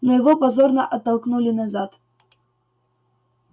но его позорно оттолкнули назад